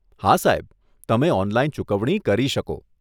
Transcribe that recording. હા સાહેબ, તમે ઓનલાઈન ચૂકવણી કરી શકો.